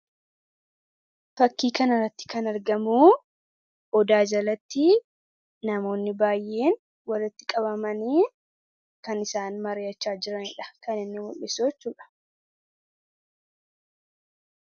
Fakkii kanarratti kan argamuu odaa jalatti namoonni baay'een walitti qabamanii kan isaan mari'achaa jiraniidha kan inni mul'isuu jechuudha.